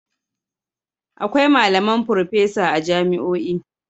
Akwai malaman furffesa a jami'o'i.